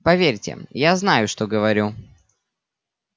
поверьте я знаю что говорю